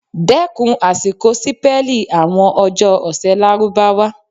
Dẹ́kùn àṣìkọ sípẹ́lì àwọn ọjọ́ ọ̀sẹ̀ Lárúbáwá.